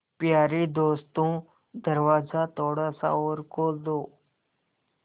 यारे दोस्तों दरवाज़ा थोड़ा सा और खोल दो